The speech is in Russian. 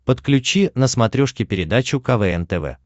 подключи на смотрешке передачу квн тв